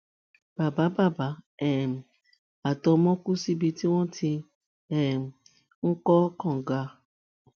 bàbá bàbá um àtọmọ kù síbi tí wọn ti um ń kọ kànga